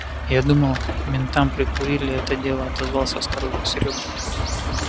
я думал ментам прикурили это дело отозвался осторожно серёга